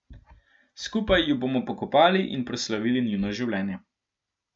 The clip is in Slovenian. Skupaj ju bomo pokopali in proslavili njuno življenje.